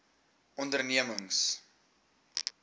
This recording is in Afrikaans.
ondernemings